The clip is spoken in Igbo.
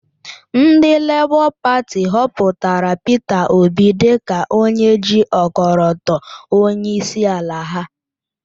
Ndị Lébọ Pati họpụtara Peter Obi dịka onye ji ọkọlọtọ onyeisiala ha.